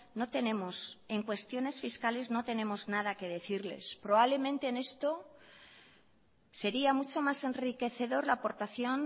no tenemos en cuestiones fiscales no tenemos nada que decirles probablemente en esto sería mucho más enriquecedor la aportación